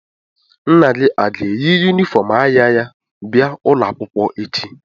Nna gị a ga-eyi yunifọm agha ya bịa ụlọ akwụkwọ echi?